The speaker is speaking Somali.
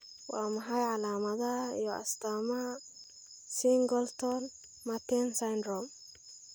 Waa maxay calaamadaha iyo astaamaha Singleton Merten syndrome?